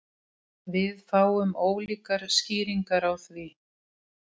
Við fáum ólíkar skýringar á því